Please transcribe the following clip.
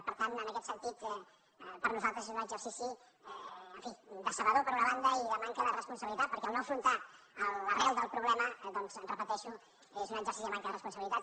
per tant en aquest sentit per a nosaltres és un exercici en fi decebedor per una banda i de manca de responsabilitat perquè en no afrontar l’arrel del problema ho repeteixo és un exercici de manca de responsabilitat